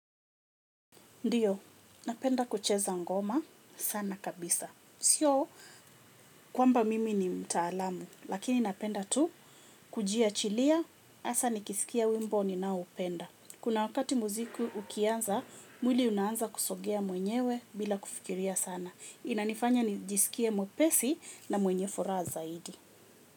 Ndiyo, napenda kucheza ngoma sana kabisa. Sio kwamba mimi ni mtaalamu, lakini napenda tu kujia chilia, asa nikisikia wimbo ni nao upenda. Kuna wakati muziku ukianza, mwili unaanza kusogea mwenyewe bila kufikiria sana. Inanifanya nijisikie mwepesi na mwenye furaa zaidi.